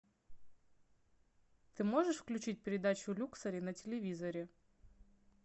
ты можешь включить передачу люксори на телевизоре